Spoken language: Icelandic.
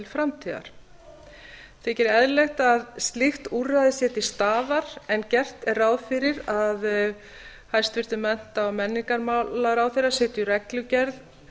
framtíðar þykir eðlilegt að slíkt úrræði sé til staðar en gert er ráð fyrir að hæstvirtum mennta og menningarmálaráðherra setji reglugerð